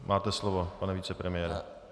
Máte slovo, pane vicepremiére.